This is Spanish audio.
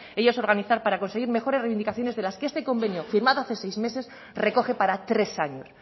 ellas organizar para conseguir mejores reivindicaciones de las que este convenio firmado hace seis meses recoge para tres años